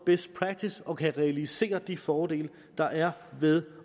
best practice og kan realisere de fordele der er ved